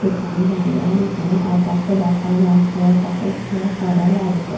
একটুখানি জায়গায় এখানে আকাশও দেখা যাচ্ছে আকাশের খোলা সাদা লাগছে।